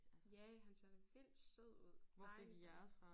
Ja han ser da vildt sød ud dejlig hund